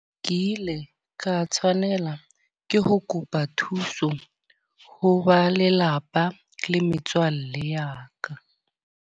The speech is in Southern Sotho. Ke ile ka tshwanela ke ho kopa thuso, ho ba lelapa le metswalle ya ka.